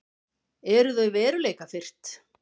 Eru þau veruleikafirrt?